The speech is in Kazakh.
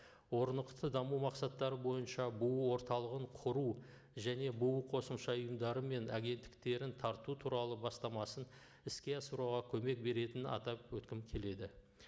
орнықты даму мақсаттары бойынша бұұ орталығын құру және бұұ қосымша ұйымдары мен агенттіктерін тарту туралы бастамасын іске асыруға көмек беретінін атап өткім келеді